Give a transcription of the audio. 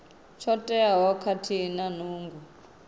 tsho teaho khathihi na nungo